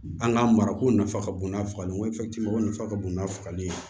An ka marako nafa ka bon n'a fagali ye waliti ye o nafa ka bon n'a fagali ye